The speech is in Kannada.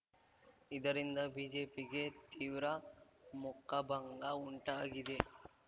ಇದರಿಂದ ಬಿಜೆಪಿಗೆ ತೀವ್ರ ಮುಖಭಂಗ ಉಂಟಾಗಿದೆ